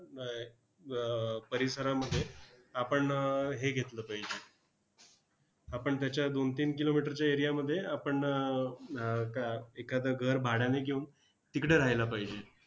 ब अह परिसरामध्ये आपण हे घेतलं पाहिजे, आपण त्याच्या दोन-तीन kilometer च्या area मध्ये आपण अह आह का एखादं घर भाड्यानं घेऊन तिकडे राहायला पाहिजे.